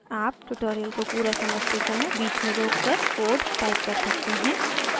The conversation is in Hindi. आप ट्यूटोरियल को पूरा समझते समय बीच में रोककर कोड टाइप कर सकते हैं